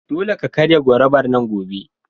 Dole ka karya gorubar nan gobe!